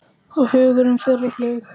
Og hugurinn fer á flug.